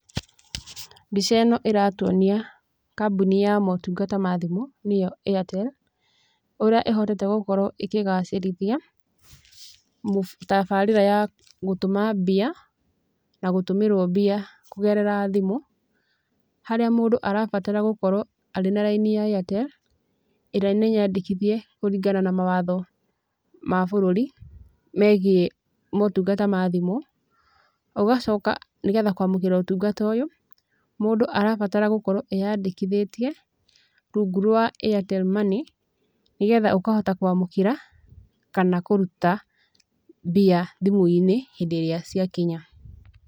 Mbica ĩno ĩratuonia kambuni ya motungata ma thimũ, nĩyo Airtel, ũrĩa ĩhotete gũkorwo ĩkĩgacĩrithia, tabarĩra ya gũtũma mbia, na gũtũmĩrwo mbia kũgerera thimũ, harĩa mũndũ arabatara gũkorwo arĩ na raini ya Airtel, ĩrĩa nĩ nyandĩkithia kũringana na mawatho ma bũrũri, megiĩ motungata ma thimũ. Ũgacoka nĩgetha kwamũkĩra ũtungata ũyũ, mũndũ arabatara gũkorwo eyandĩkithĩtie, rungu rwa Airtel Money, nĩgetha ũkahota kwamũkĩra, kana kũruta mbia thimũ-inĩ hĩndĩ ĩrĩa ciakinya.